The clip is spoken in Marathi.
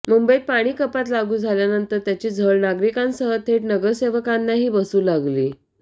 मुंबईत पाणी कपात लागू झाल्यानंतर त्याची झळ नागरिकांसह थेट नगरसेवकांनाही बसू लागली